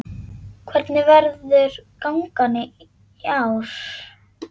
Hvernig verður gangan í ár?